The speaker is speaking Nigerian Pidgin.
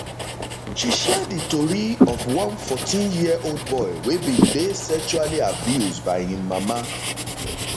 she share di tori of one 14year old boy wey bin dey sexually abused by im mama